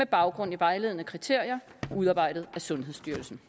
baggrund af vejledende kriterier udarbejdet af sundhedsstyrelsen